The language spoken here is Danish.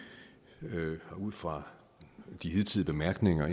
og ud fra de hidtidige bemærkninger